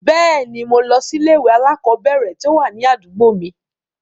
Bẹ́ẹ̀ ni, mo lọ sí ilé-ìwé alákọ̀ọ́bẹ̀ẹ̀rẹ̀ tí ó wà ní àdúgbò mi.